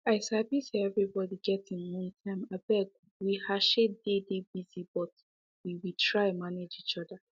i sabi say everybody get im own time abeg we heshe dey dey busy but we we try manage each other